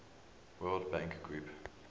world bank group